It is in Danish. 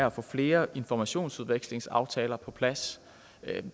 at få flere informationsudvekslingsaftaler på plads